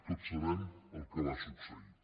tots sabem el que va succeir